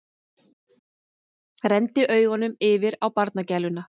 Renndi augunum yfir á barnagæluna.